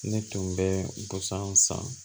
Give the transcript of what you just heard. Ne tun bɛ busan san